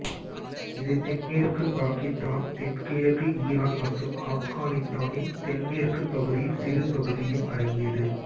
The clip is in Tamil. இது தென்மேற்கு பாக்கித்தான் தென்கிழக்கு ஈரான் மற்றும் ஆப்கானித்தானின் தென்மேற்கு பகுதியில் சிறு பகுதியும் அடங்கியது